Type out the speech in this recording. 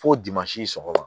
Fo sɔgɔma